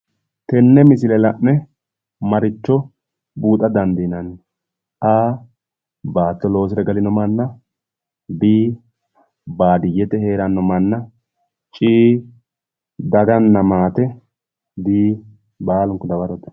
Tenne misile la'ne maricho huwata dandiinanni? A. Baatto loosire galino manna B. Baadiyyete heeranno manna C.daganna maate D. Baalunku dawarote